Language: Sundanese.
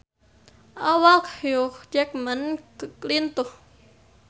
Awak Hugh Jackman lintuh